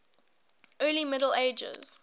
early middle ages